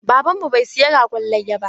Baban mu bai saya ragon layya ba.